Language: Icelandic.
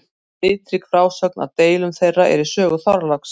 Litrík frásögn af deilum þeirra er í sögu Þorláks.